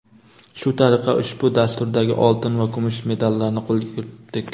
Shu tariqa ushbu dasturdagi oltin va kumush medallarni qo‘lga kiritdik!.